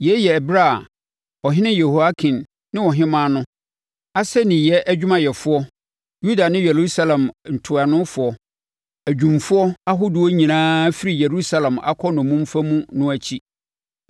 (Yei yɛ ɛberɛ a ɔhene Yehoiakin ne ɔhemmaa no, asɛnniiɛ adwumayɛfoɔ, Yuda ne Yerusalem ntuanofoɔ, adwumfoɔ ahodoɔ nyinaa afiri Yerusalem akɔ nnommumfa mu no akyi.)